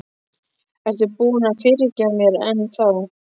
Ertu ekki búinn að fyrirgefa mér enn þá?